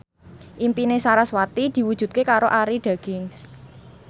impine sarasvati diwujudke karo Arie Daginks